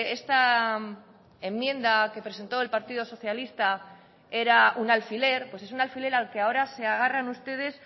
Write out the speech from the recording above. esta enmienda que presentó el partido socialista era un alfiler pues es un alfiler al que ahora se agarran ustedes